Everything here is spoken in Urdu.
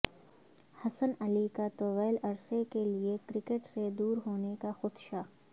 حسن علی کا طویل عرصے کیلئے کرکٹ سے دور ہونے کا خدشہ